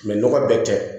nɔgɔ bɛ tɛ